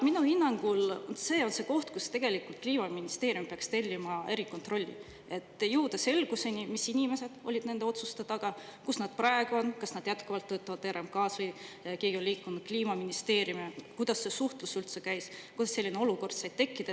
Minu hinnangul on see just see koht, kus Kliimaministeerium peaks tellima erikontrolli, et jõuda selgusele, mis inimesed olid nende otsuste taga, kus nad praegu on, kas nad jätkuvalt töötavad RMK‑s või on keegi neist liikunud Kliimaministeeriumisse, kuidas see suhtlus üldse käis, kuidas selline olukord sai tekkida.